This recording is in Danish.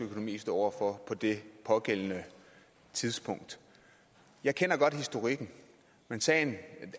økonomi stod over for på det pågældende tidspunkt jeg kender godt historikken men sagen